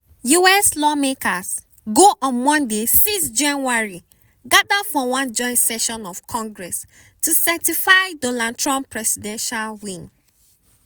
us lawmakers go on monday 6 january gada for one joint session of congress to certify donald trump presidential election win.